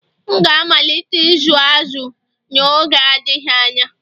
M ga-amalite ịzụ azu n'oge adịghị anya